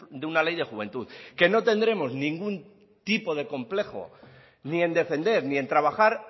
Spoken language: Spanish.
de una ley de juventud que no tendremos ningún tipo de complejo ni en defender ni en trabajar